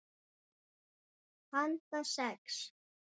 Handa sex